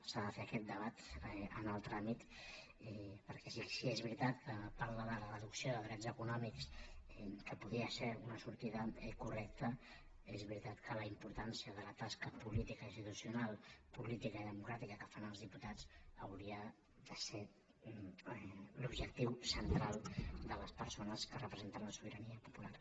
s’ha de fer aquest debat en el tràmit perquè si és veritat que parla de la reducció de drets econòmics que podria ser una sortida correcta és veritat que la importància de la tasca política institucional política i democràtica que fan els diputats hauria de ser l’objectiu central de les persones que representen la sobirania popular